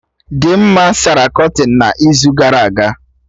Dimma sara kọtịn n'izu gara aga